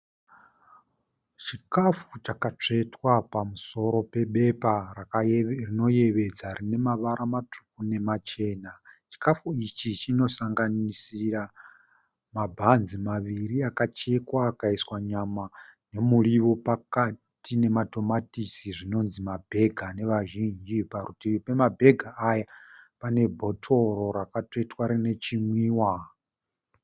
Chikafu chakatsvetwa pamusoro pebepa rinoyevedza rine mavara matsvuku nemachena. Chikafi ichi chinosanganisira mabhanzi maviri akachekwa akaiswa nyama nemuriwo pakati nematomatisi zvinonzi mabhega nevazhinji. Parutivi pamabhega aya pane bhotoro rakatsvetwa rine chinwiwa.